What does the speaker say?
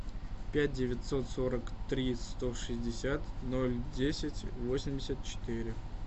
пять девятьсот сорок три сто шестьдесят ноль десять восемьдесят четыре